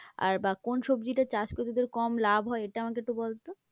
আর বা কোন সবজিটা চাষ করতে তোদের কম লাভ হয় এটা আমাকে একটু বল তো?